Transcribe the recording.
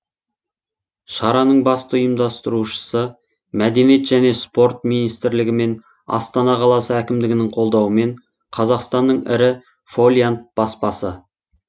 шараның басты ұйымдастырушысы мәдениет және спорт министрлігі мен астана қаласы әкімдігінің қолдауымен қазақстанның ірі фолиант баспасы